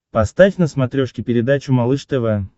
поставь на смотрешке передачу малыш тв